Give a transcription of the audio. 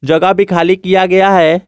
जगह भी खाली किया गया है।